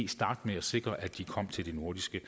starte med at sikre at de kommer til de nordiske